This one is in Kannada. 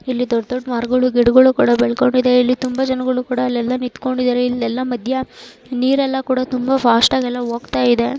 ಇಲ್ಲಿ ದೊಡ್ದ್ದ್ ದೊಡ್ಡ್ ಮರಗಳು ಗಿಡಗಳು ಕೂಡ ಬೆಳ್ಕೊಂಡಿವೆ ಇಲ್ಲಿ ತುಂಬಾ ಜನಗಳು ಕೂಡ ಅಲ್ಲೆಲ್ಲಾ ನಿಂತ್ಕೊಂಡಿದ್ದಾರೆ ಇಲ್ಲೆಲ್ಲಾ ಮಧ್ಯ ನೀರೆಲ್ಲಾ ಕೂಡಾ ತುಂಬಾ ಫಾಸ್ಟ್ ಆಗಿ ಎಲ್ಲಾ ಹೋಗ್ತಾ ಇದೆ.